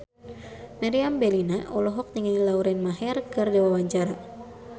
Meriam Bellina olohok ningali Lauren Maher keur diwawancara